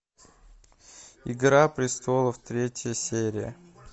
игра престолов третья серия